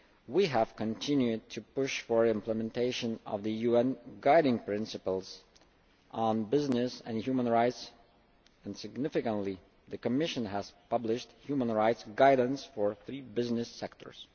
We have continued to push for implementation of the UN Guiding Principles on Business and Human Rights and significantly, the Commission has published human rights guidance for three business sectors.